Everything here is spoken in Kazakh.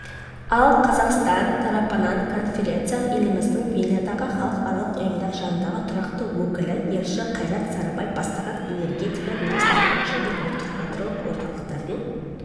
ал қазақстан тарапынан конференцияға еліміздің венадағы халықаралық ұйымдар жанындағы тұрақты өкілі елші қайрат сарыбай бастаған энергетика министрлігінің және ұлттық ядролық орталықтың